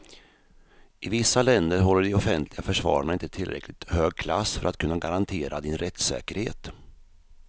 I vissa länder håller de offentliga försvararna inte tillräckligt hög klass för att kunna garantera din rättssäkerhet.